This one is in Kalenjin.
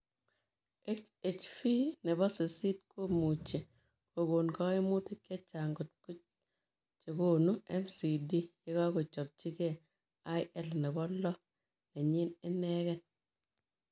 HHV nepoo sisit komuchii kokon kaimutik chechaang kot chegonu MCD yekachopchi gei IL nepo loo nenyii inegei.